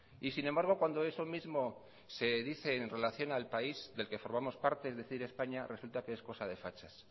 y sin embargo cuando eso mismo se dice en relación al país del que formamos parte es decir españa resulta que es cosa de fachas